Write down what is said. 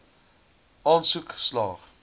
aansoek slaag